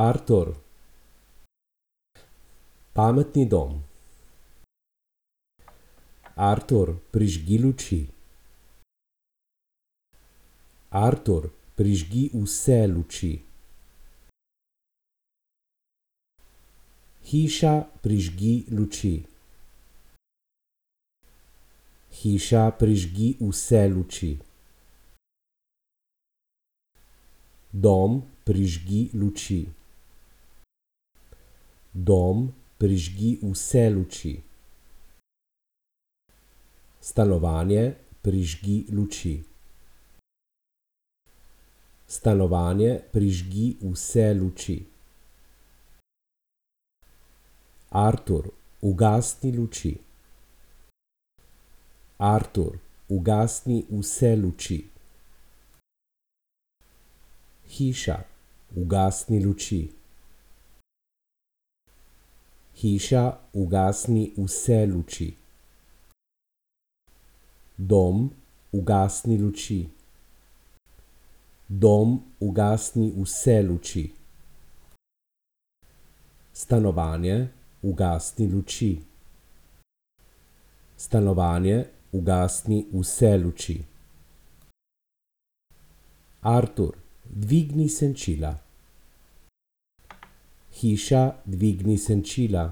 Artur. Pametni dom. Artur, prižgi luči. Artur, prižgi vse luči. Hiša, prižgi luči. Hiša, prižgi vse luči. Dom, prižgi luči. Dom, prižgi vse luči. Stanovanje, prižgi luči. Stanovanje, prižgi vse luči. Artur, ugasni luči. Artur, ugasni vse luči. Hiša, ugasni luči. Hiša, ugasni vse luči. Dom, ugasni luči. Dom, ugasni vse luči. Stanovanje, ugasni luči. Stanovanje, ugasni vse luči. Artur, dvigni senčila. Hiša, dvigni senčila.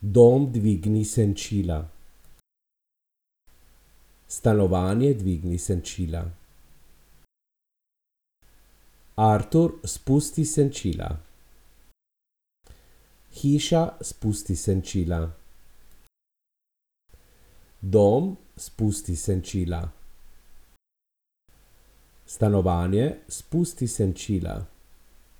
Dom, dvigni senčila. Stanovanje, dvigni senčila. Artur, spusti senčila. Hiša, spusti senčila. Dom, spusti senčila. Stanovanje, spusti senčila.